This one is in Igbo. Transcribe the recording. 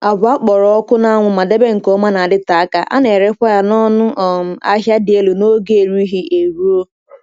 Agwa a kpọrọ ọkụ n’anwụ ma debee nke ọma na-adịte aka, a na-erekwa ya n’ọnụ um ahịa dị elu n’oge erighị eruo.